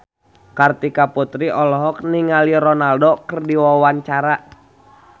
Kartika Putri olohok ningali Ronaldo keur diwawancara